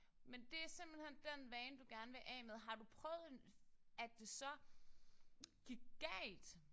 Men det er simpelthen den vane du gerne ved af med. Har du prøvet at det så gik galt?